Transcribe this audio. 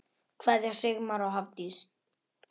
Kveðja, Sigmar og Hafdís.